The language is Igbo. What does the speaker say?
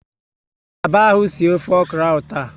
Kaba ahụ sie ofe okuro ahụ taa!